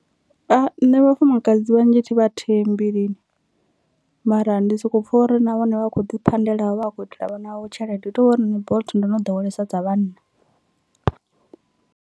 Nṋe vhafumakadzi vhanzhi thi vha thembi lini, mara ndi soko pfha uri na vhone vha kho ḓi phandelavho vha vha kho itela vhana vhavho tshelede hu tovhori nṋe bolt ndo no ḓowelea dza vhanna.